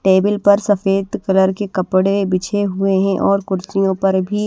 table पर सफेद colour के कपड़े बिछे हुए हैं और कुर्सियों पर भी--